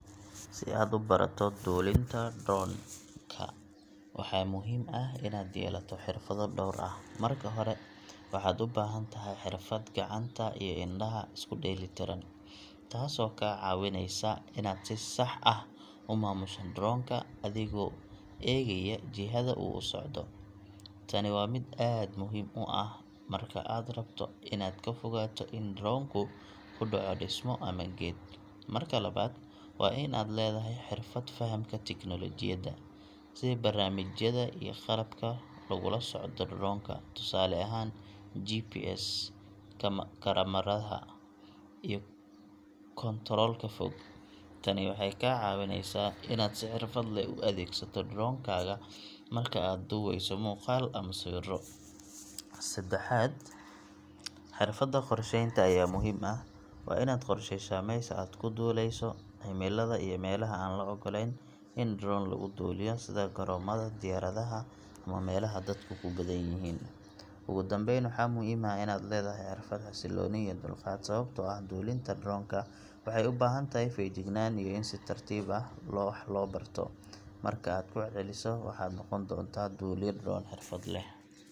Si aad u barato duulinta drone ka, waxaa muhiim ah inaad yeelato xirfado dhowr ah. Marka hore, waxaad u baahan tahay xirfad gacanta iyo indhaha isku dheellitiran, taasoo kaa caawineysa inaad si sax ah u maamusho drone ka adigoo eegaya jihada uu u socdo. Tani waa mid aad muhiim u ah marka aad rabto inaad ka fogaato in drone ku ku dhaco dhismo ama geed. Marka labaad, waa in aad leedahay xirfad fahamka teknoolojiyadda, sida barnaamijyada iyo qalabka lagula socdo drone-ka, tusaale ahaan GPS, kamaradaha, iyo kontoroolka fog. Tani waxay kaa caawineysaa inaad si xirfad leh u adeegsato drone-kaaga marka aad duubeyso muuqaal ama sawirro. Saddexaad, xirfadda qorsheynta ayaa muhiim ah. Waa inaad qorsheysaa meesha aad ku duuleyso, cimilada, iyo meelaha aan la ogoleyn in drone lagu duulo, sida garoomada diyaaradaha ama meelaha dadku ku badan yihiin. Ugu dambeyn, waxaa muhiim ah in aad leedahay xirfad xasilooni iyo dulqaad leh, sababtoo ah duulinta drone ka waxay u baahan tahay feejignaan iyo in si tartiib ah wax loo barto. Marka aad ku celceliso, waxaad noqon doontaa duuliye drone xirfad leh.